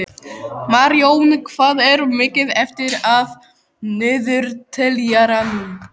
Marjón, hvað er mikið eftir af niðurteljaranum?